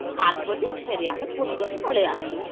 ସାତ ବଜେ ପୁଣି ଆମେ .. return ପଲେଇ ଆସିନୁ